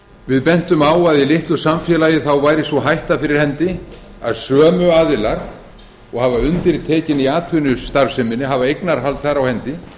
við bentum á að litlu samfélagi væri sú hætta fyrir hendi að sömu aðilar og hafa undirtökin í atvinnustarfseminni hafa eignarhald þar á hendi